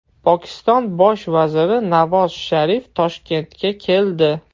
Pokiston Bosh vaziri Navoz Sharif Toshkentga keldi.